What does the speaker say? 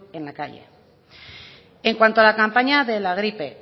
en la calle en cuanto a la campaña de la gripe